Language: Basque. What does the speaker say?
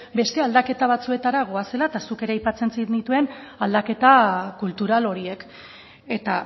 beste aldaketa batzuetara goazela eta zuk ere aipatzen zenituen aldaketa kultural horiek eta